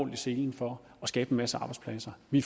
i selen for at skabe en masse arbejdspladser vi